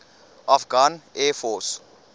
afghan air force